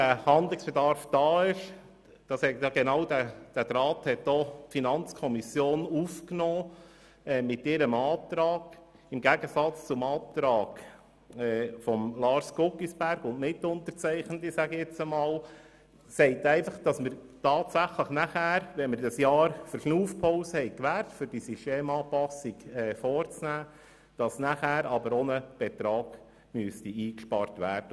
Weil dieser Handlungsbedarf besteht – genau diesen Faden hat die FiKo mit ihrer Planungserklärung aufgenommen, im Gegensatz zur Planungserklärung Guggisberg und Mitunterzeichnende –, müsste wirklich ein Betrag eingespart werden, nachdem man eine jährige Verschnaufpause gewährt hat, um die Systemanpassung vorzunehmen.